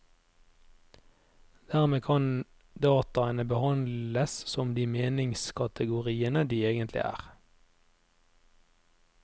Dermed kan dataene behandles som de meningskategoriene de egentlig er.